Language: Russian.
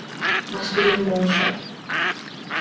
на стуле молча